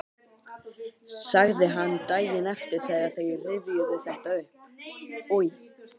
sagði hann daginn eftir þegar þeir rifjuðu þetta upp: Oj!